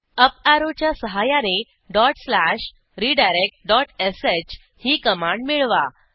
up ऍरोच्या सहाय्याने dot slash redirectश ही कमांड मिळवा